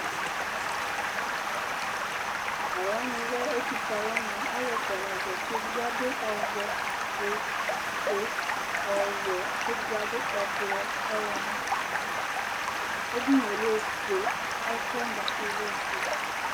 Talʋwani lɛ ɛtʋfue alʋni Alʋ ɛfʋa la zati; edigbo adʋ ɔvɛ, ofue, ɔwɛ, lakʋ edigbo adʋ ɛblɔ, ɔwlɔmɔ Edini yɛ lɛ ofue ɛfʋwani dza kplo lɛ ofue